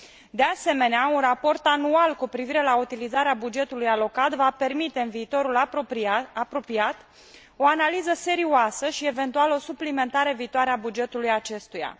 De asemenea, un raport anual cu privire la utilizarea bugetului alocat va permite în viitorul apropiat o analiză serioasă și, eventual, o suplimentare viitoare a bugetului acestuia.